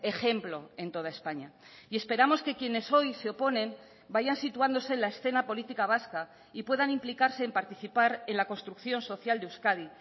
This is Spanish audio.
ejemplo en toda españa y esperamos que quienes hoy se oponen vayan situándose en la escena política vasca y puedan implicarse en participar en la construcción social de euskadi